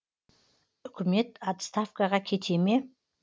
үкімет отставкаға кете ме